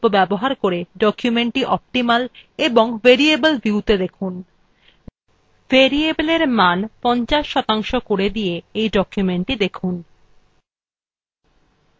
zoom বিকল্প ব্যবহার করে documentthe optimal এবং variable viewত়ে দেখুন variable এ মান ৫০ শতাংশ করে দিয়ে documentthe দেখুন